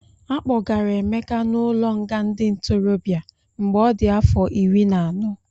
Akpọgara Emeka n'ụlọnga ndị ntorobịa mgbe ọ dị afọ iri na anọ.